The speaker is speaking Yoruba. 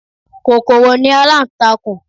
Kòkòrò ni aláǹtakùn